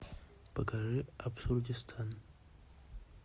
покажи абсурдистан